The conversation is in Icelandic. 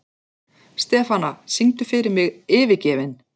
Stefana, syngdu fyrir mig „Yfirgefinn“.